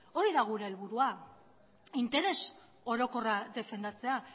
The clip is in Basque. hori da gure helburua interes orokorra defendatzea